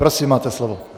Prosím, máte slovo.